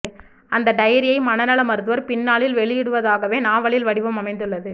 அந்த டயரியை மனநல மருத்துவர் பின்னாளில் வெளியிடுவதாகவே நாவலின் வடிவம் அமைந்துள்ளது